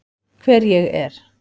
Hver ég er.